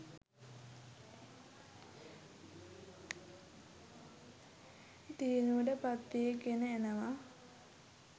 දියුණුවට පත්වි ගෙන එනවා.